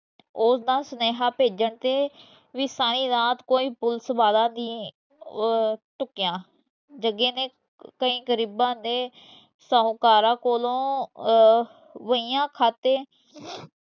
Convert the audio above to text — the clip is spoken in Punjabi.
ਉਹ ਤਾਂ ਸਨੇਹਾ ਭੇਜਣ ਤੇ ਭੀ ਸਾਰੀ ਰਾਤ ਕੋਈ ਪੁਲਿਸ ਵਾਲਾ ਨਹੀਂ ਅਹ ਡੁਕਯਾ। ਜਗੇ ਨੇ ਕਈ ਗਰੀਬਾਂ ਦੇ ਸ਼ਾਹੂਕਾਰਾਂ ਕੋਲੋਂ ਅਹ ਵਹੀਆਂ ਖਾਤੇ